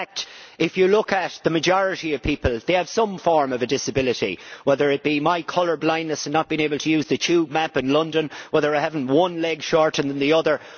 In fact, if you look at the majority of people, they have some form of a disability, whether it be my colour blindness and not being able to use the tube map in London, or whether I have one leg shorter than the other.